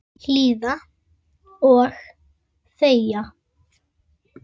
Hlýða og þegja.